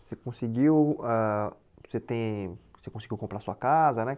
Você conseguiu, ãh você tem, você conseguiu comprar sua casa, né?